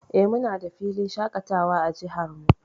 Eh, muna da filin shaƙatawa a jihar mu.